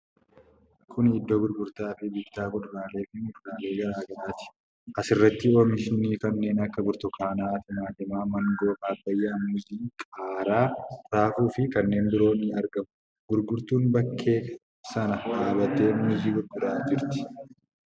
Kuni Iddoo gurgurtaa fi bittaa kuduraalee fi muduraalee garaa garaati. Asirratti oomishni kanneen akka burtukaanaa, timaatimii, maangoo, paappayyaa, muuzii, qaaraa, raafuu fi kanneen biroo ni argamu. Gurgurtuun bakkee sana dhaabattee muuzii gurguraa jirti.